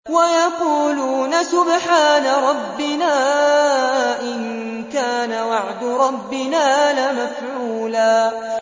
وَيَقُولُونَ سُبْحَانَ رَبِّنَا إِن كَانَ وَعْدُ رَبِّنَا لَمَفْعُولًا